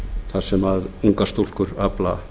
þar sem ungar stúlkur afla